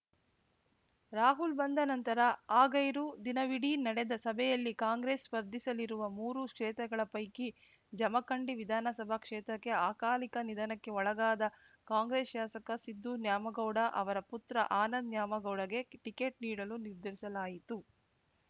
ರಾಹುಲ್‌ ಬಂದ ನಂತರ ಆಗೈರು ದಿನವಿಡೀ ನಡೆದ ಸಭೆಯಲ್ಲಿ ಕಾಂಗ್ರೆಸ್‌ ಸ್ಪರ್ಧಿಸಲಿರುವ ಮೂರು ಕ್ಷೇತ್ರಗಳ ಪೈಕಿ ಜಮಖಂಡಿ ವಿಧಾನಸಭಾ ಕ್ಷೇತ್ರಕ್ಕೆ ಅಕಾಲಿಕ ನಿಧನಕ್ಕೆ ಒಳಗಾದ ಕಾಂಗ್ರೆಸ್‌ ಶಾಸಕ ಸಿದ್ದು ನ್ಯಾಮಗೌಡ ಅವರ ಪುತ್ರ ಆನಂದ ನ್ಯಾಮಗೌಡಗೆ ಟಿಕೆಟ್‌ ನೀಡಲು ನಿರ್ಧರಿಸಲಾಯಿತು